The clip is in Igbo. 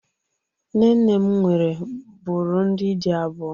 Nne nne m nwere bụrụ ndị di abụọ.